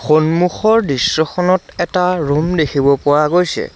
সন্মুখৰ দৃশ্যখনত এটা ৰুম দেখিব পোৱা গৈছে।